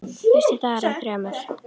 Fyrsti dagur af þremur.